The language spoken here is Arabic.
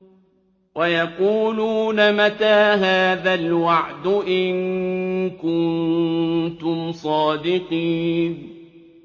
وَيَقُولُونَ مَتَىٰ هَٰذَا الْوَعْدُ إِن كُنتُمْ صَادِقِينَ